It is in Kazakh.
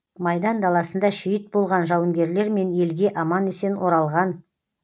майдан даласында шейіт болған жауынгерлер мен елге аман есен оралған